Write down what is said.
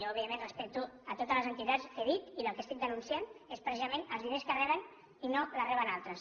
jo evidentment respecto totes les entitats que he dit i el que estic denunciant és precisament els diners que reben i no reben altres